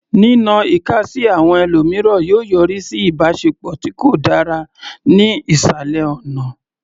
Nínọ ìka sí àwọn ẹlòmíràn yóò yọrí sí ìbáṣepọ̀ tí kò dára ní ìsàlẹ̀ ọ̀nà.